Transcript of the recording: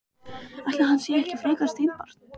Ætli hann sé ekki frekar steinbarn.